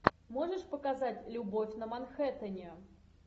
можешь показать любовь на манхэттене